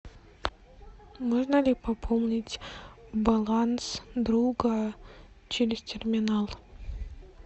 можно ли пополнить баланс друга через терминал